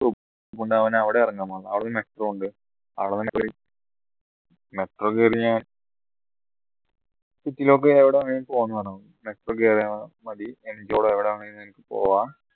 അതുകൊണ്ട് അവൻ അവിടെ ഇറങ്ങാൻ പറഞ്ഞു അവിടുന്ന് metro ഉണ്ട് metro കേറി ഞാൻ city ലൊക്കെ എവിടെ വേണമെങ്കിലും പോവാന് പറഞ്ഞു metro കേറിയാ മതി വിടെ വേണേലും പോവാ